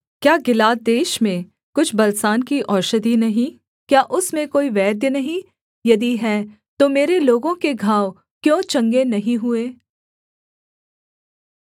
क्या गिलाद देश में कुछ बलसान की औषधि नहीं क्या उसमें कोई वैद्य नहीं यदि है तो मेरे लोगों के घाव क्यों चंगे नहीं हुए